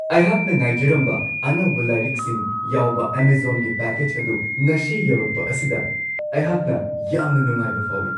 ꯑꯩꯍꯥꯛꯅ ꯉꯥꯏꯖꯔꯝꯕ ꯑꯅꯧꯕ ꯂꯥꯏꯔꯤꯛꯁꯤꯡ ꯌꯥꯎꯕ ꯑꯦꯃꯖꯣꯟꯒꯤ ꯄꯦꯀꯦꯖ ꯑꯗꯨ ꯉꯁꯤ ꯌꯧꯔꯛꯄ ꯑꯁꯤꯗ ꯑꯩꯍꯥꯛꯅ ꯌꯥꯝꯅ ꯅꯨꯡꯉꯥꯏꯕ ꯐꯥꯎꯋꯤ ꯫